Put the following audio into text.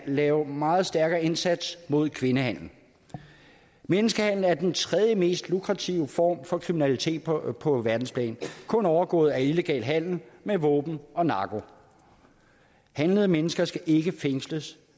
laves en meget stærkere indsats mod kvindehandel menneskehandel er den tredjemest lukrative form for kriminalitet på på verdensplan kun overgået af illegal handel med våben og narko handlede mennesker skal ikke fængsles